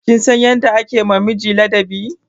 Kin san yadda ake ma miji ladabi?